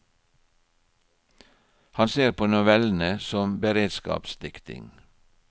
Han ser på novellene som beredskapsdiktning.